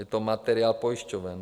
Je to materiál pojišťoven.